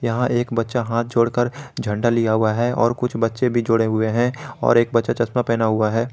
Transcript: यहां एक बच्चा हाथ जोड़कर झंडा लिया हुआ है और कुछ बच्चे भी जोड़े हुए हैं और एक बच्चा चश्मा पहना हुआ है।